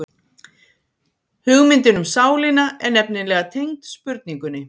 Hugmyndin um sálina er nefnilega tengd spurningunni.